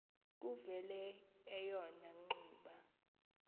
kuvele eyona ngxuba